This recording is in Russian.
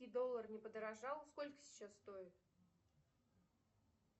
доллар не подорожал сколько сейчас стоит